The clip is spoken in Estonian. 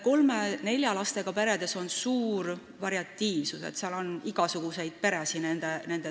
Kolme või nelja lapsega peredes on suur variatiivsus, nende seas on igasuguseid peresid.